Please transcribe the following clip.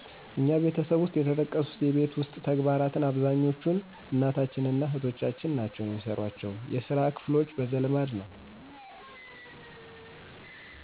እኛ ቤተሰብ ውሰጥ የተጠቀሱት የቤት ውስጥ ተግባራት አብዛኛዎቹን እናታችን እና እህቶቻችን ናቸው የሚሰሯቸው። የስራ ክፍሎች በዘልማድ ነዉ።